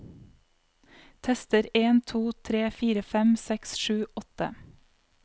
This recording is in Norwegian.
Tester en to tre fire fem seks sju åtte